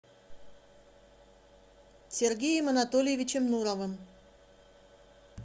сергеем анатольевичем нуровым